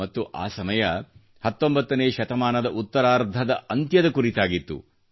ಮತ್ತು ಆ ಸಮಯ 19 ನೇ ಶತಮಾನದ ಉತ್ತರಾರ್ಧದ ಅಂತ್ಯದ ಕುರಿತಾಗಿತ್ತು